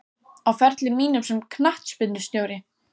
Á ferli mínum sem knattspyrnustjóri?